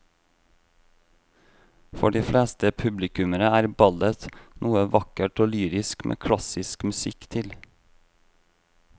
For de fleste publikummere er ballett noe vakkert og lyrisk med klassisk musikk til.